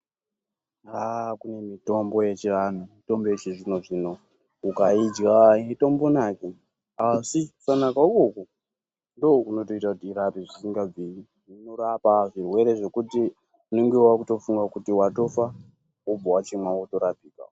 Aaaa kune mitombo yechiantu nemitombo yechizvino zvino ukaidya aitombonaki asi kisanaka ikoko ndiko kunotoita kuti irape zvisingabviri inorapa zvirwere zvekuti unenge wakutofunga kuti watofa wobva wachimwa wotorapika.